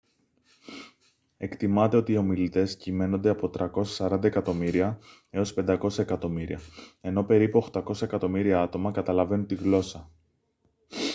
εκτιμάται ότι οι ομιλητές κυμαίνονται από 340 εκατομμύρια έως 500 εκατομμύρια ενώ περίπου 800 εκατομμύρια άτομα καταλαβαίνουν τη γλώσσα